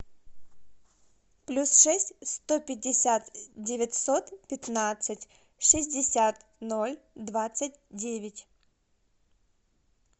плюс шесть сто пятьдесят девятьсот пятнадцать шестьдесят ноль двадцать девять